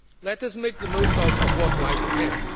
Let us make the most out of what lies